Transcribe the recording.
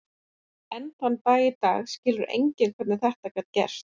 Enn þann dag í dag skilur enginn hvernig þetta gat gerst.